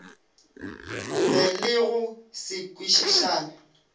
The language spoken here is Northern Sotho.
be le go se kwešišane